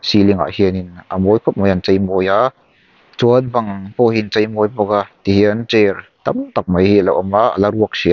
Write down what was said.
ceiling ah hianin a mawi khawp mai an cheimawi a chuan bang pawhhi an cheimawi bawk a tihian chair tamtak mai hi ala awm a ala ruak hrih a--